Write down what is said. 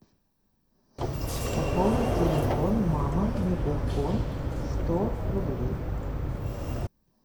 пополнить телефон мама мегафон сто рублей